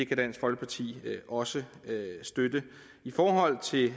kan dansk folkeparti også støtte i forhold til